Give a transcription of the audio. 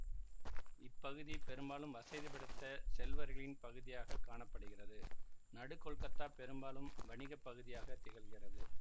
இப்பகுதி பெரும்பாலும் வசதி படைத்த செல்வர்களின் பகுதியாக காண படுகிறது நடு கொல்கத்தா பெரும்பாலும் வணிக பகுதியாக திகழ்கிறது